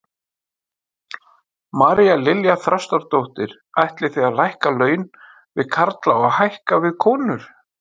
María Lilja Þrastardóttir: Ætlið þið að lækka laun við karla og hækka við konur?